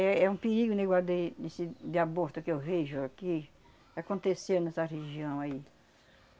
É, é um perigo negócio de desse de aborto que eu vejo aqui acontecer nessa região aí.